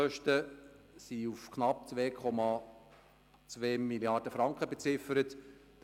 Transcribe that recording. Die Baukosten sind auf knapp 2,2 Mrd. Franken beziffert worden.